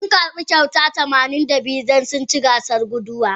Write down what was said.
Sun karba kyauta tamanin da biyu don sun ci gasan guduwa.